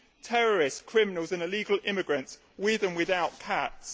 Terrorists, criminals and illegal immigrants, with and without cats.